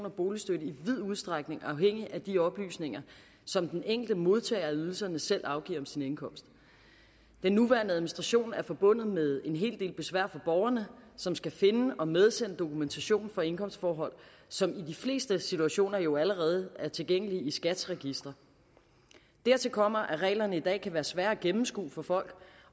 og boligstøtte i vid udstrækning afhængig af de oplysninger som den enkelte modtager af ydelsen selv afgiver om sin indkomst den nuværende administration er forbundet med en hel del besvær for borgerne som skal finde og medsende dokumentation for indkomstforhold som i de fleste situationer jo allerede er tilgængelige i skats registre dertil kommer at reglerne i dag kan være svære at gennemskue for folk